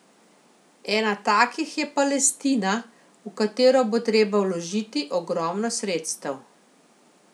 Ena takih je Palestina, v katero bo treba vložiti ogromno sredstev.